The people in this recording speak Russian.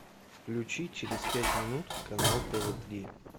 включи через пять минут канал тв три